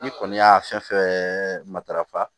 N'i kɔni y'a fɛn fɛn matarafa